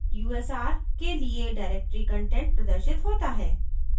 /usr के लिए directory content प्रदर्शित होता है